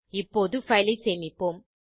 இப்போது பைல் ஐ சேமிப்போம்